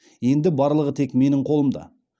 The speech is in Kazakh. енді барлығы тек менің қолымда